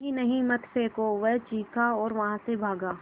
नहीं नहीं मत फेंको वह चीखा और वहाँ से भागा